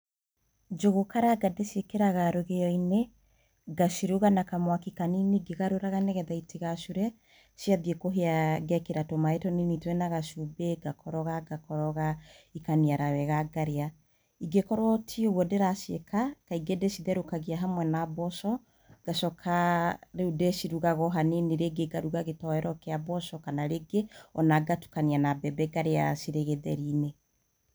Njũgũ karanga ndĩciĩkĩraga rũgĩo-inĩ ngaciruga na kamwaki kanini ngĩgarũraga nĩguo itigacure ciathiĩ kũhĩa ngekĩra tũmaĩ tũnini twĩna gacumbĩ ngakoroga ngakoroga ikaniara wega ngarĩa, ingĩ korwo ti ũguo ndĩraciĩka kaingĩ ndicetherũkagia hamwe na mboco ngacoka rĩu ndĩcirugaga o hanini rĩngĩ ngaruga gĩtoero kĩa mboco kana rĩngĩ ngatukania na mbembe ngarĩa cirĩ gĩtheri-inĩ.